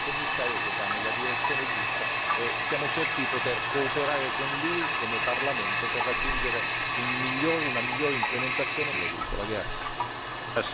Prendiamo atto della chiarificazione del Commissario, che va nella direzione giusta, e siamo certi di poter cooperare con lui, come Parlamento, per raggiungere una migliore implementazione di questa politica agricola.